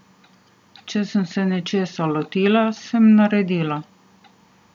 Če sem se nečesa lotila, sem naredila.